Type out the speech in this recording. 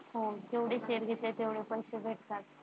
हा जेवढी खरेदी तेव्हडे पैसे भेटतात.